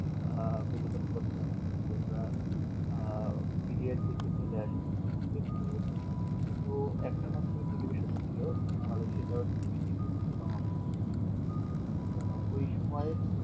আহ বিনোদন করছিলাম যদি আমরা আহ media দিকে চলে আসি তখন কিন্তু শুধু একটা মাত্র টেলিভিশন ছিল বাংলাদেশ এ সেটা হচ্ছে জি টিভি আরকি বাংলাদেশ টেলিভিশন তো ওই সময়